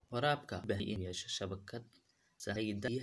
Waraabka wuxuu u baahan yahay inuu yeesho shabakad sahayda biyaha ah.